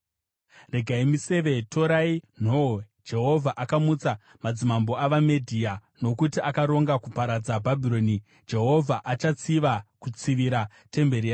“Rodzai miseve, torai nhoo! Jehovha akamutsa madzimambo avaMedhia, nokuti akaronga kuparadza Bhabhironi. Jehovha achatsiva, kutsivira temberi yake.